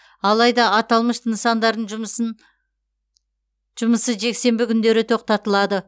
алайда аталмыш нысандардың жұмысы жексенбі күндері тоқтатылады